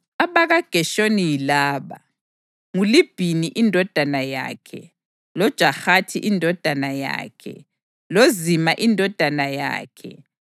AbakaGeshoni yilaba: nguLibhini indodana yakhe, loJahathi indodana yakhe, loZima indodana yakhe,